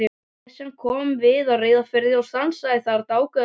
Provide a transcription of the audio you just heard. Esjan kom við á Reyðarfirði og stansaði þar dágóða stund.